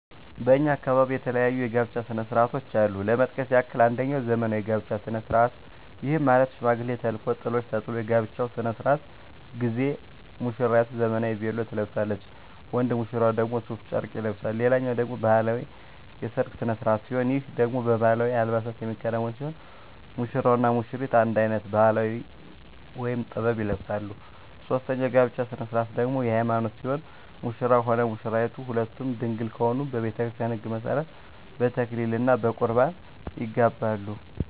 በእኛ አካባቢ የተለያዩ የጋብቻ ስነ ስርዓቶች አሉ ለመጥቀስ ያክል አንጀኛው ዘመናዊ የጋብቻ ስነ ስርዓት ይህም ማለት ሽማግሌ ተልኮ ጥሎሽ ተጥሎ የጋብቻው ስነ ስርዓት ጊዜ ሙስራይቱ ዘመናዊ ቬሎ ትለብሳለች ወንድ ሙሽራው ደግሞ ሡፍ ጨርቅ ይለብሳል ሌላኛው ደግሞ ባህላዊ የሰርግ ስነ ስርዓት ሲሆን ይህ ደግሞ በባህላዊ አልባሳት የሚከናወን ሲሆን ሙሽራው እና ሙሽሪቷ አንድ አይነት ባህላዊ(ጥበብ) ይለብሳሉ ሶስተኛው የጋብቻ ስነ ስርዓት ደግሞ የሀይማኖት ሲሆን ሙሽራውም ሆነ ሙሽራይቷ ሁለቱም ድንግል ከሆኑ በቤተክርስቲያን ህግ መሠረት በተክሊል እና በቁርባን ይጋባሉ።